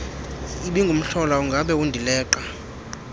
ibingumhlola ongabe undileqa